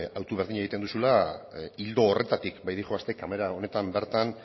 hautu berdina egiten duzula ildo horretatik baitijoazte kamara honetan bertan